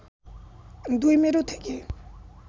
দুই মেরু থেকে